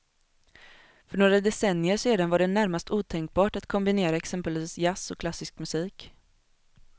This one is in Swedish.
För några decennier sedan var det närmast otänkbart att kombinera exempelvis jazz och klassisk musik.